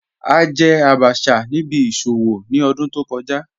A jẹ̀ àbàchà ni ìbí ìṣòwò ni ọ̀dún tó kọ̀ja